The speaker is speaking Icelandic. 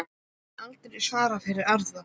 Ég hef aldrei svarað fyrir aðra.